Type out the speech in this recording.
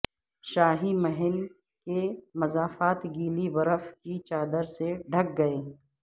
شاہی محل کے مضافات گیلی برف کی چادر سے ڈھک گئے